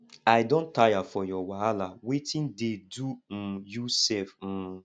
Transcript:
i don tire for your wahala wetin dey do um you sef um